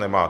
Nemá.